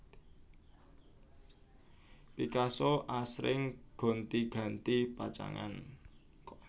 Picasso asring gonti ganti pacangan